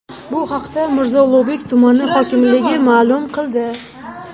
Bu haqda Mirzo Ulug‘bek tumani hokimligi ma’lum qildi .